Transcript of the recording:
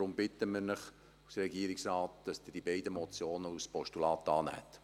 Deshalb bittet Sie der Regierungsrat, dass Sie die beiden Motionen als Postulat annehmen.